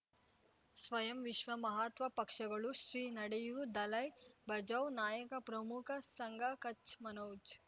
ಸ್ವಯಂ ವಿಶ್ವ ಮಹಾತ್ಮ ಪಕ್ಷಗಳು ಶ್ರೀ ನಡೆಯೂ ದಲೈ ಬಚೌ ನಾಯಕ ಪ್ರಮುಖ ಸಂಘ ಕಚ್ ಮನೋಜ್